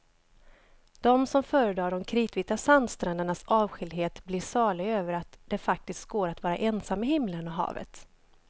De som föredrar de kritvita sandsträndernas avskildhet blir saliga över att det faktiskt går att vara ensam med himlen och havet.